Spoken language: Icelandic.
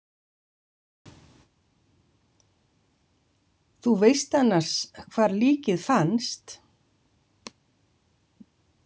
Þú veist annars hvar líkið fannst?